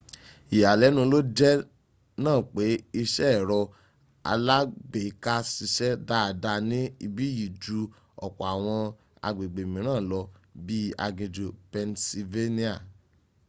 ìyàlẹ́nu ló jẹ́ ná pé iṣẹ́ ẹrọ alágbèéká ṣiṣẹ́ dáadáa ní ibíyìí ju ọ̀pọ̀ àwọn agbègbẹ̀ mìíràn lọ bíi aginjù pennsylvania